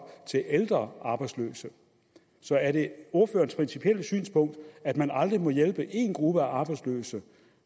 til ældre arbejdsløse så er det ordførerens principielle synspunkt at man aldrig må hjælpe en gruppe af arbejdsløse